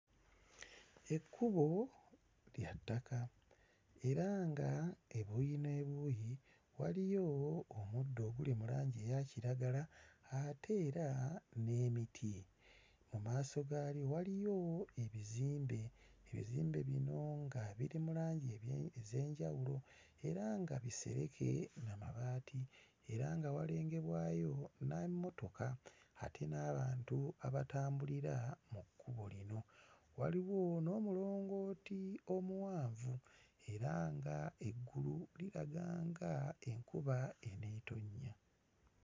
Ekkubo lya ttaka era ng'ebuuyi n'ebuuyi waliyo omuddo oguli mu langi eya kiragala ate era n'emiti. Mu maaso gaalyo waliyo ebizimbe, ebizimbe bino nga biri mu langi ebye... ez'enjawulo era nga bisereke na mabaati era nga walengerwayo n'emmotoka ate n'abantu abatambulira ku kkubo lino. Waliwo n'omulongooti omuwanvu era nga eggulu liraga nga enkuba eneetonnya.